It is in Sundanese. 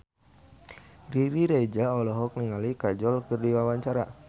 Riri Reza olohok ningali Kajol keur diwawancara